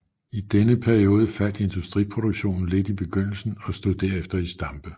I denne periode faldt industriproduktionen lidt i begyndelsen og stod derefter i stampe